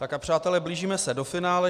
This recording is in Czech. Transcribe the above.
Tak a přátelé, blížíme se do finále.